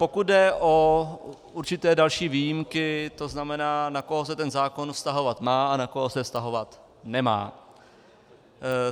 Pokud jde o určité další výjimky, to znamená, na koho se ten zákon vztahovat má a na koho se vztahovat nemá.